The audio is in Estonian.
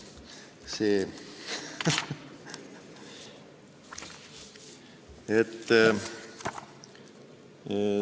See ...